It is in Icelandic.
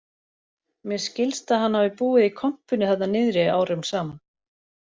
Mér skilst að hann hafi búið í kompunni þarna niðri árum saman